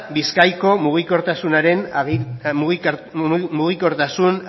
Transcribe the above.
bizkaiko mugikortasun